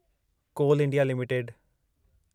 call India limited